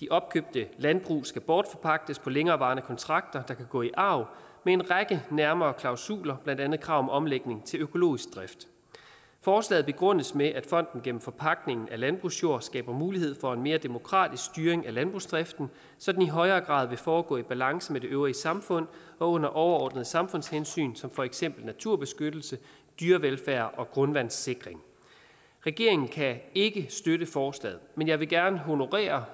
de opkøbte landbrug skal bortforpagtes på længerevarende kontrakter der kan gå i arv med en række nærmere klausuler blandt andet krav om omlægning til økologisk drift forslaget begrundes med at fonden gennem forpagtning af landbrugsjord skaber mulighed for en mere demokratisk styring af landbrugsdriften så den i højere grad vil foregå i balance med det øvrige samfund og under overordnede samfundshensyn som for eksempel naturbeskyttelse dyrevelfærd og grundvandssikring regeringen kan ikke støtte forslaget men jeg vil gerne honorere